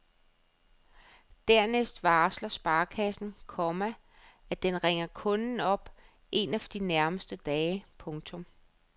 Dernæst varsler sparekassen, komma at den ringer kunden op en af de nærmeste dage. punktum